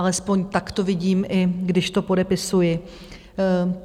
Alespoň tak to vidím, i když to podepisuji.